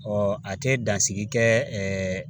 Ɔ a tɛ dansigi kɛ